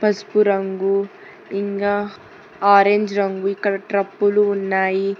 పసుపు రంగు ఇంగా ఆరెంజ్ రంగు ఇక్కడ ట్రబ్బులు ఉన్నాయి.